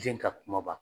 Den ka kumaba